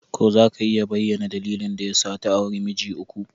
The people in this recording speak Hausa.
Ko za ka iya bayyana dalilin da ya sa ta auri miji uku?